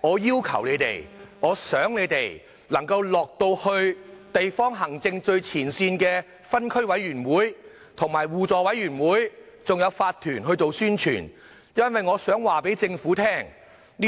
我要求政府官員到地方行政最前線的分區委員會、互助委員會和法團去做宣傳，因為這